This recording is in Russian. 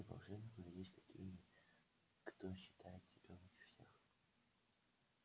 среди волшебников есть такие кто считает себя лучше всех